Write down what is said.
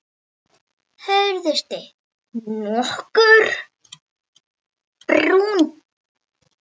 Hörundsliturinn nokkuð brúnn.